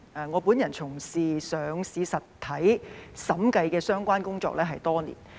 我本人從事上市實體審計相關工作多年。